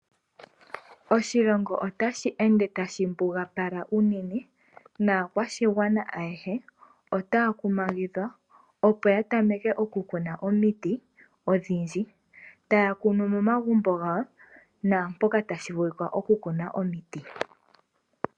Oshilongo ota shi ende tashi mbugapala unene, naakwashigwana ayehe otaya kumagidhwa opo ya tameke okukuna omiti odhindji, taya kunu momagumbo gawo naampoka tashi vulika okukuna omiti.